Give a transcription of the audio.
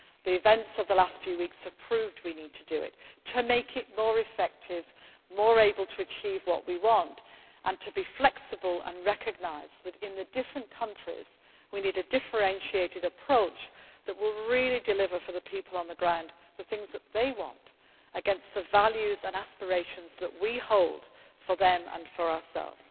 that work. The events of the last few weeks have proved we need to do it, to make it more effective, more able to achieve what we want and to be flexible and recognise that in the different countries, we need a differentiated approach that will really deliver for the people on the ground the things that they want against the values and aspirations that we hold for them and for